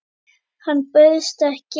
Hann bauðst ekki.